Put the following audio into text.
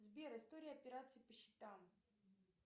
сбер история операций по счетам